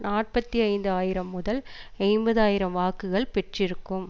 நாற்பத்தி ஐந்து ஆயிரம் முதல் ஐம்பது ஆயிரம் வாக்குகள் பெற்றிருக்கும்